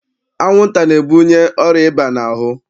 Anwụnta na-ebunye ọrịa ịba n'ahụ.